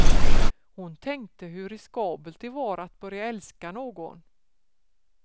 Hon tänkte hur riskabelt det var att börja älska någon.